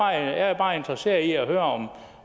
jeg er bare interesseret i at høre